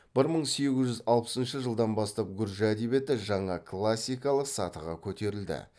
бір мың сегіз жүз алпысыншы жылдан бастап гүржі әдебиеті жаңа классикалық сатыға көтерілді